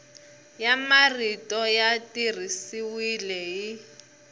ya marito ya tirhisiwile hi